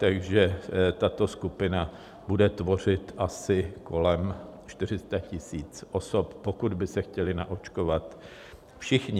Takže tato skupina bude tvořit asi kolem 400 000 osob, pokud by se chtěli naočkovat všichni.